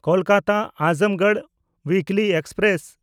ᱠᱳᱞᱠᱟᱛᱟ–ᱟᱡᱚᱢᱜᱚᱲ ᱩᱭᱤᱠᱞᱤ express